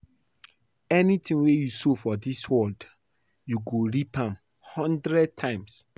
Anything wey you sow for dis world you go reap am hundred times